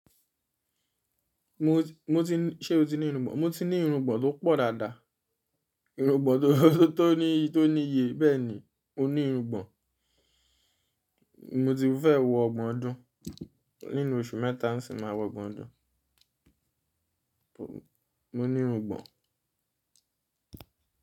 Mo ti, mo ti, ṣe o ti ní irungbọ̀n? Mo ti ní irungbọ̀n tó pọ̀ dáadáa, irungbọ̀n tó, tó ní, tó níye bẹ́ẹ̀ni. Mo ní irungbọ̀n, mo ti fẹ́ wọ ọgbọ̀n ọdún, nínú oṣù mẹ́ta nisìnyi máa wọ ọgbọ̀n ọdún. Mo ní irungbọ̀n.